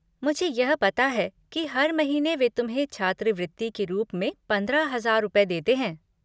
मुझे यह पता है कि हर महीने वे तुम्हें छात्रावृति के रूप में पंद्रह हजार रुपए देते हैं।